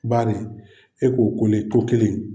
Bari e ko ko nin ko kelen in.